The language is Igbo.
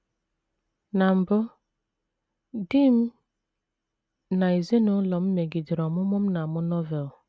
“ Na mbụ, di m na ezinụlọ m megidere ọmụmụ m na - amụ Novel.